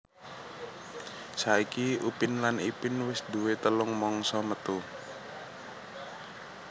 Saiki Upin lan Ipin wis duwé telung mangsa metu